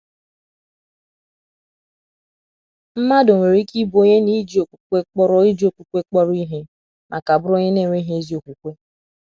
Mmadụ nwere ike ibụ onye na iji okpukpe kpọrọ iji okpukpe kpọrọ ihe ma ka bụrụ onye na - enweghị ezi okwukwe.